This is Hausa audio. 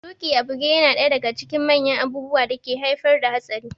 Tuƙi a buge yana daya daga cikin manyan abubuwan da ke haifar da hatsari